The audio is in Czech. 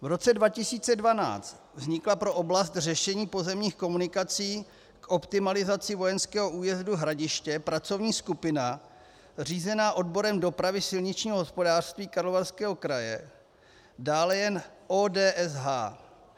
V roce 2012 vznikla pro oblast řešení pozemních komunikací k optimalizaci vojenského újezdu Hradiště pracovní skupina řízená odborem dopravy silničního hospodářství Karlovarského kraje, dále jen ODSH.